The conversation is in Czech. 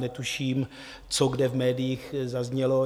Netuším, co kde v médiích zaznělo.